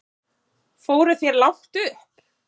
Fóruð þér langt upp?